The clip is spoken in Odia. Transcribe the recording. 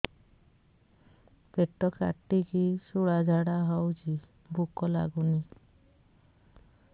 ପେଟ କାଟିକି ଶୂଳା ଝାଡ଼ା ହଉଚି ଭୁକ ଲାଗୁନି